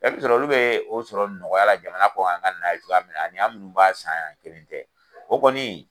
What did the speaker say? I be sɔrɔ olu bɛ o sɔrɔ nɔgɔya la jamana kɔ kan ka na cogoya min na, ani an munnu b'a san yan kelen tɛ, o kɔni